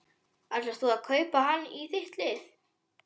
Ætlar þú að kaupa hann í þitt lið?